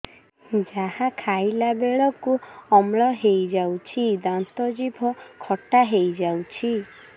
ଯାହା ଖାଇଲା ବେଳକୁ ଅମ୍ଳ ହେଇଯାଉଛି ଦାନ୍ତ ଜିଭ ଖଟା ହେଇଯାଉଛି